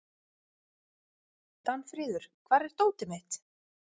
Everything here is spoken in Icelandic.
Danfríður, hvar er dótið mitt?